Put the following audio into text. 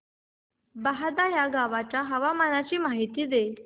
बहादा या गावाच्या हवामानाची माहिती दे